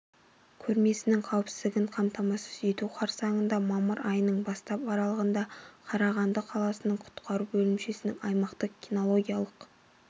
көрмесінің қауіпсіздігін қамтамасыз ету қарсаңында мамыр айының бастап аралығында қарағанды қаласының құтқару бөлімшесінде аймақтық кинологиялық